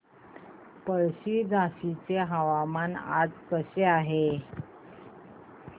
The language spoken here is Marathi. पळशी झाशीचे हवामान आज कसे आहे